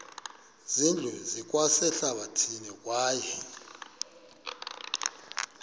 zindlu zikwasehlathini kwaye